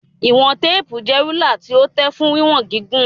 Ìwọ̀n téèpù jẹ́ rúlà tí ó tẹ̀ fún wíwọn gígùn.